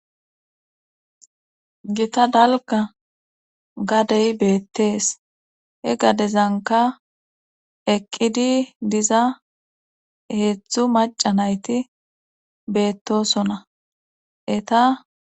gita dalka gadey beettees he gadezanka eqqidi diza heedzdzu maca nayti beettosona eta